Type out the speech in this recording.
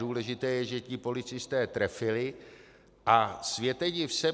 Důležité je, že ti policisté trefili - a světe div se!